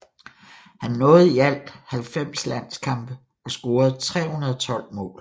Han nåede i alt 90 landskampe og scorede 312 mål